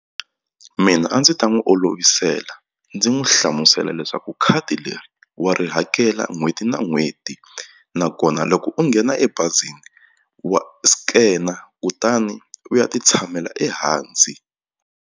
Mina a ndzi ta n'wi olovisela ndzi n'wi hlamusela leswaku khadi leri wa ri hakela n'hweti na n'hweti nakona loko u nghena ebazini wa scan or kutani u ya ti tshamela ehansi.